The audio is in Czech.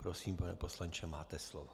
Prosím, pane poslanče, máte slovo.